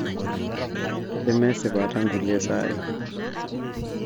keme esipata nkulie saai